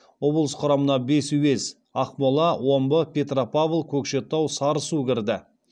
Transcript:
облыс құрамына бес уез ақмола омбы петропавл көкшетау сарысу кірді